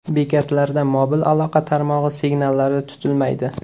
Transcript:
Bekatlarda mobil aloqa tarmog‘i signallari tutilmaydi.